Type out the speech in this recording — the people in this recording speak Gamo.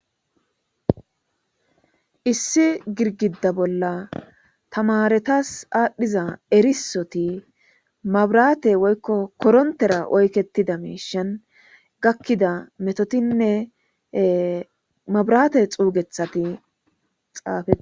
Issi girgida bolla tamaaretas aadhdhiza erisoti mabraate woykko korontera oykettida miishan gakkida metotinne mabraate xuugethati xaafe.